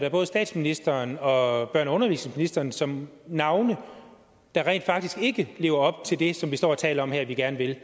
af både statsministeren og børne og undervisningsministeren som navne der rent faktisk ikke lever op til det som vi står og taler om her at vi gerne vil